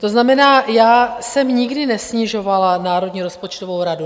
To znamená, já jsem nikdy nesnižovala Národní rozpočtovou radu.